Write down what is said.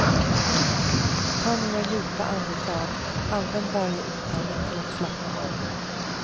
Ta några djupa andetag, använd varje utandning till att slappna av.